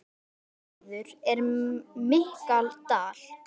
Hennar maður er Michael Dal.